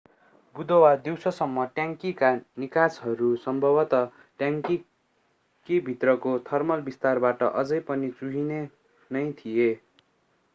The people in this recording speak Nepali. बुधबार दिउँसोसम्म, ट्याङ्कीका निकासहरू सम्भवत ट्याङ्की भित्रको थर्मल विस्तारबाट अझै पनि चुहिने नै थिए।